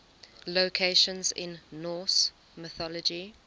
locations in norse mythology